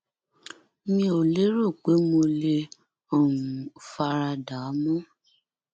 mi ò lérò pé mo lè um fara dà á mọ